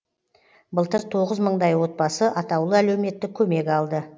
былтыр тоғыз мыңдай отбасы атаулы әлеуметтік көмек алды